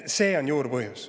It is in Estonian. See on juurpõhjus.